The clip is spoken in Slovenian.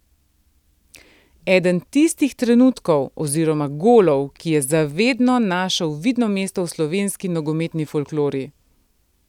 Eden tistih trenutkov oziroma golov, ki je za vedno našel vidno mesto v slovenski nogometni folklori.